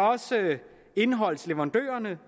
også indholdsleverandørerne